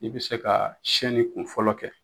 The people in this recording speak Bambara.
I be se ka sɛnni kun fɔlɔ kɛ